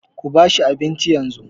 Kuba shi abincin yanzu.